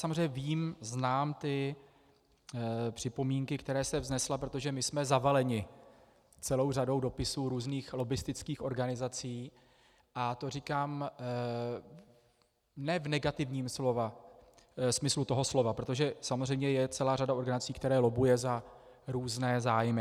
Samozřejmě vím, znám ty připomínky, které jste vznesla, protože my jsme zavaleni celou řadou dopisů různých lobbistických organizací, a to říkám ne v negativním smyslu toho slova, protože samozřejmě je celá řada organizací, která lobbuje za různé zájmy.